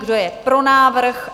Kdo je pro návrh?